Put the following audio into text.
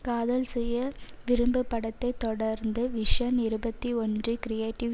காதல் செய்ய விரும்பு படத்தை தொடர்ந்து விஷன் இருபத்தி ஒன்று கிரியேட்டிவ்